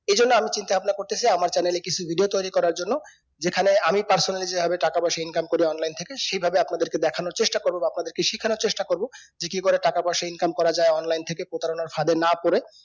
এই জন্য আমি চিন্তা ভাবনা কারতেসি আমার channel এ কিছু video তৈরী করার জন্য যেকানে আমি personally যেভাবে টাকা পয়সা ncome করি online থেকে সেই ভাবে আপনাদেরকে দেখানোর চেষ্টা করবো বা আপনাদের কে শিখানোর চেষ্টা করবো যে কি করে টাকা পয়সা income করা যাই online থেকে প্রতারণার ফাঁদে না পরে